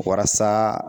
Walasa